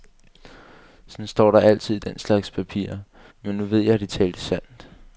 Sådan står der altid i den slags papirer, men nu ved jeg, at de talte sandt.